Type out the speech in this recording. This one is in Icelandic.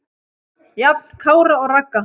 Jafn Kára og Ragga.